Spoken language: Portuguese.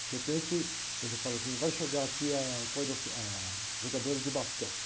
De repente, ele fala assim, vai chegar aqui a, a jogadora de basquete.